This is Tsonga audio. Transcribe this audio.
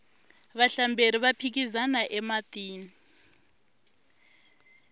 vahlamberi va phikizana ematini